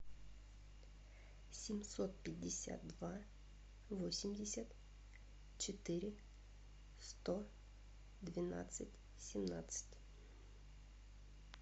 семьсот пятьдесят два восемьдесят четыре сто двенадцать семнадцать